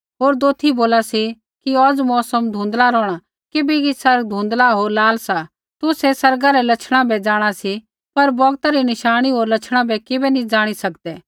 होर दोथी बोला सी कि औज़ मौसम धुँधला रौहणा किबैकि आसमान धुँधला होर लाल सा तुसै आसमाना रै लछणा बै जाँणा सी पर बौगता री नशाणी होर लछणा बै किबै नी ज़ाणी सकदै